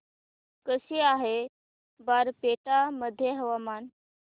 कसे आहे बारपेटा मध्ये हवामान